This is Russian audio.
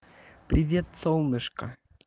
привет солнышко